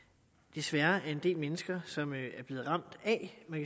desværre er en del mennesker som er blevet ramt af man